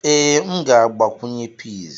Ee, m ga-agbakwunye peas.